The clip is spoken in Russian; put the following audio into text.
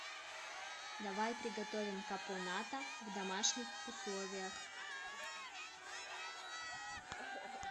давай приготовим капоната в домашних условиях